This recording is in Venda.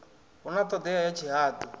hu na ṱhodea ya tshihaḓu